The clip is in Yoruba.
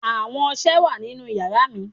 Awo ọṣẹ wa ninu yara mi